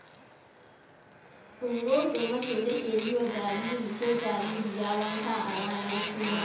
Ungozoma ce take yi wa jariri ko jaririya wanka a ranar suna.